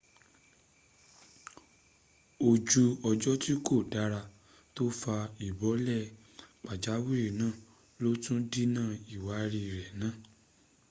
ojú ọjọ tí kò dára tó fa ìbọ́lẹ̀ pàjáwìrì náà lótú dínà ìwárí rẹ̀ náà